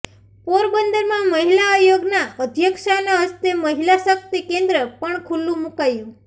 પોરબંદરમાં મહિલા આયોગના અધ્યક્ષાના હસ્તે મહિલા શકિત કેન્દ્ર પણ ખલ્લુ મુકાયું